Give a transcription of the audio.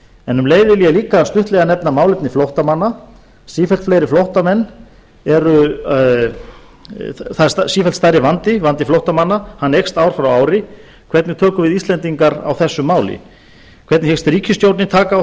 en um leið vil ég líka stuttlega nefna málefni flóttamanna sífellt fleiri flóttamenn eru sífellt stærri vandi vandi flóttamanna eykst ár frá ári hvernig tökum við íslendingar á þessu máli hvernig hyggst ríkisstjórnin taka á